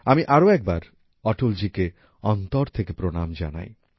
আমি আরও একবার অটলজিকে অন্তর থেকে প্রণাম জানাই